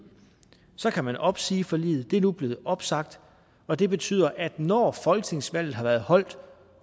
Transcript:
så kan man opsige forliget det er nu blevet opsagt og det betyder at når folketingsvalget har været holdt